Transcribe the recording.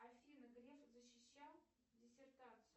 афина греф защищал диссертацию